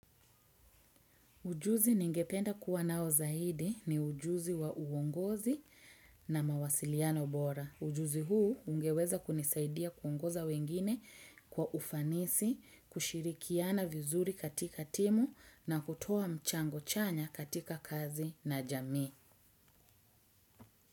Ujuzi ningependa kuwa nao zaidi ni ujuzi wa uongozi na mawasiliano bora. Ujuzi huu ungeweza kunisaidia kuongoza wengine kwa ufanisi, kushirikiana vizuri katika timu na kutuwa mchango chanya katika kazi na jamii.